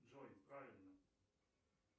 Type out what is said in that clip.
джой правильно